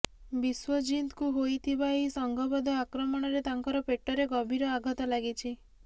ବିଶ୍ୱଜିତଙ୍କୁ ହୋଇଥିବା ଏହି ସଂଘବଦ୍ଧ ଆକ୍ରମଣରେ ତାଙ୍କର ପେଟରେ ଗଭୀର ଆଘାତ ଲାଗିଛି